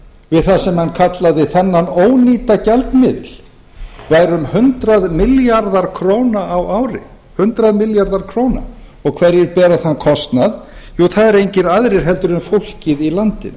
við það sem hann kallaði þennan ónýta gjaldmiðil væri um hundrað milljarðar króna á ári hverjir bera þann kostnað jú það eru engir aðrir en fólkið í landinu